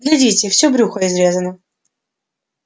глядите всё брюхо изрезано